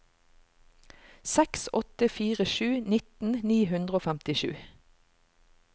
seks åtte fire sju nitten ni hundre og femtisju